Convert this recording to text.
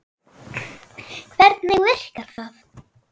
Hvernig virkar það?